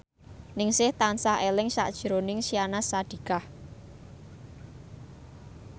Ningsih tansah eling sakjroning Syahnaz Sadiqah